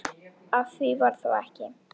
Af því varð þó ekki.